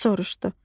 Div soruşdu: